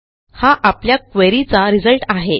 हा आपल्या queryचा रिझल्ट आहे